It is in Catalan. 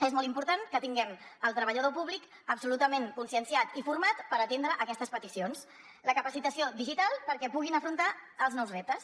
és molt important que tinguem el treballador públic absolutament conscienciat i format per atendre aquestes peticions la capacitació digital perquè puguin afrontar els nous reptes